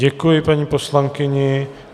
Děkuji paní poslankyni.